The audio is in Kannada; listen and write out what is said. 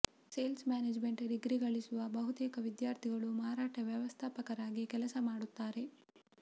ಸೇಲ್ಸ್ ಮ್ಯಾನೇಜ್ಮೆಂಟ್ ಡಿಗ್ರಿ ಗಳಿಸುವ ಬಹುತೇಕ ವಿದ್ಯಾರ್ಥಿಗಳು ಮಾರಾಟ ವ್ಯವಸ್ಥಾಪಕರಾಗಿ ಕೆಲಸ ಮಾಡುತ್ತಾರೆ